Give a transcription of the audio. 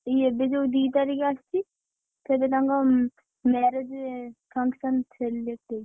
ଏଇ ଏବେ ଯୋଉ ଦୁଇ ତାରିଖ ଆସୁଛି ସେବେ ତାଙ୍କ marriage function select ହେଇଛି।